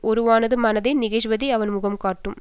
ஒருவனது மனத்தே நிகழ்வதை அவன் முகம் காட்டும்